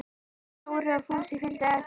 Dóri og Fúsi fylgdu á eftir.